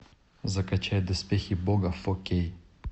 закачай доспехи бога фо кей